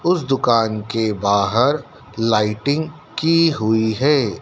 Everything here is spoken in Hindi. उस दुकान के बाहर लाइटिंग की हुई है।